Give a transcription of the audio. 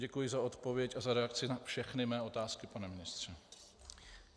Děkuji za odpověď a za reakci na všechny mé otázky, pane ministře.